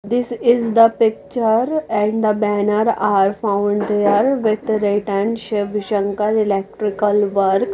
this is the picture and the banner are found they are with write and shiv shankar electrical work.